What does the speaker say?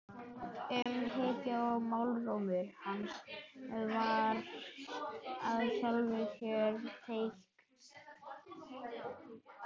Umhyggjan í málrómi hans var í sjálfu sér teikn.